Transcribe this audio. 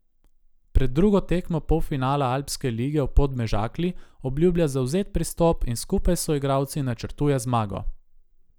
Pred drugo tekmo polfinala alpske lige v Podmežakli obljublja zavzet pristop in skupaj s soigralci načrtuje zmago.